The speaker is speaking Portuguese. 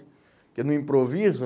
Porque no improviso...